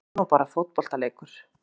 Þetta er nú bara fótboltaleikur